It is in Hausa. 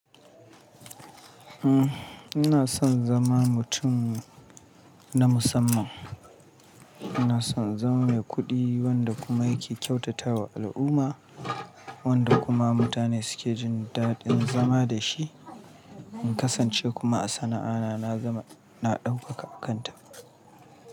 Uhm, ina son zama mutum na musamman. Ina son in zama mai kuɗi wanda kuma yake kyautatawa al'umma, wanda kuma mutane suke jin daɗin zama da shi, in kasance kuma a sana'a na, na gama, na ɗaukaka a kanta.